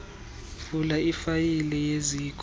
vula ifayile yeziko